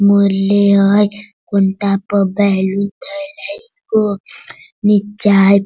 मुरली हई कुंता पर बैलून धयल हई मि चाय --